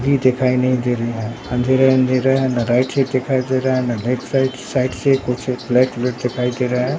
भी दिखाई नहीं दे रहा है अंधेरा ही अंधेरा है न राइट साइड दिखाई दे रहा है न लेफ्ट साइड साइड से कुछ फ्लैट - व्लेट दिखाई दे रहा है।